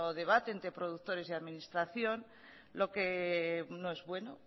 debate entre productores y administración lo que no es bueno